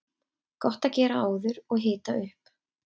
Gott að gera áður og hita upp.